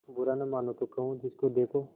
बुरा न मानों तो कहूँ जिसको देखो